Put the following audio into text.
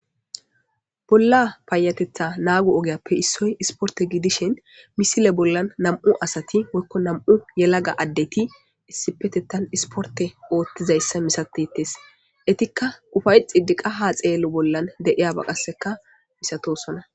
Bolla paayatetha naagu ogeyappe issoy isporte gidishin misile bollan nam7u asati woykko nam7u yelaga addeti issipetettan isporte oothtizayssa misatetes etikka ufayxidiqa ha xeello bollan de7iyaba qasseka misatosona.